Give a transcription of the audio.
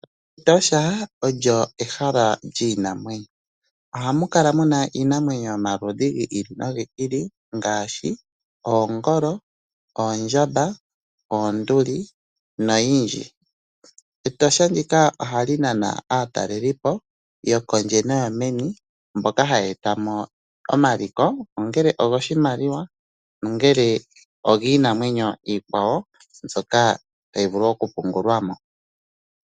Etosha olyo ehala lyiinamwenyo ohamu kala muna iinamwenyo yomaludhi ogendji ngaashi oongolo, oondjamba, oonduli noyindji. Ohali nana aatalelipoyokondje noyo meni. Mboka haya eta mo eliko lyomashimaliwa nenge lyiinamwenyo mbyoka tayi vulu okupungulwa mo.